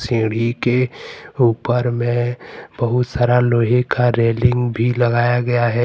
सीढ़ी के ऊपर में सारा लोहे का रेलिंग भी लगाया गया है।